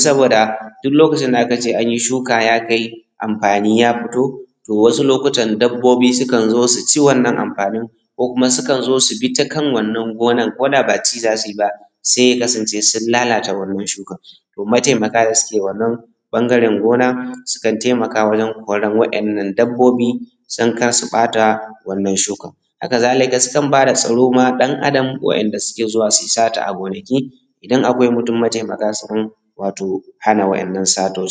Saboda duk lokacin da aka ce an yi shuka ya kai anfani ya fito, to wasu lokutan dabbobi sukan zo su ci anfanin wannan gonar. Ko kuma sukan zo su bi ta kan wannan gonan koda ba ci za su yi ba sai ya kasance sun lalata wannan shukar. To mataimaka da su ke wannan ɓangaren gona sukan taimaka wajen koran waɗannan dabbobi don kar su ɓaata wannan shukar. Hakazalika sukan ba da tsaro ma ɗan adan waɗanda suke zuwa su yi sata a gonaki, idan akwai mutum mataimaka sukan hana waɗannan satan